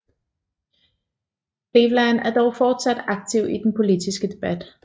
Cleveland var dog fortsat aktiv i den politiske debat